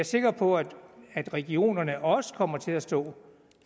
sikker på at at regionerne også kommer til at stå